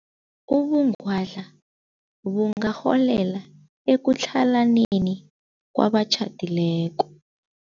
Ubungwadla bungarholela ekutlhalaneni kwabatjhadileko.